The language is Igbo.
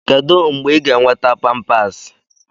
Kedu mgbe ị ga-enweta Pampasi?